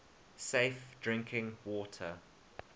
safe drinking water